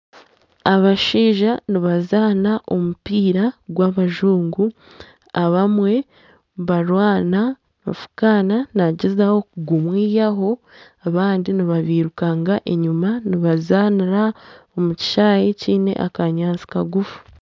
Abashaija nibazaana omupiira gw'abajungu abamwe nibarwana, nibafuukana nagyezaho kugumwihaho abandi nibabairukagira enyuma nibazaanira omu kishaayi kyine akanyaatsi kagufu.